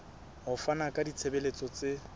ho fana ka ditshebeletso tse